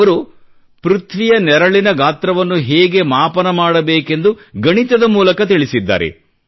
ಅವರು ಪೃಥ್ವಿಯ ನೆರಳಿನ ಗಾತ್ರವನ್ನು ಹೇಗೆ ಮಾಪನ ಮಾಡಬೇಕೆಂದು ಗಣಿತದ ಮೂಲಕ ತಿಳಿಸಿದ್ದಾರೆ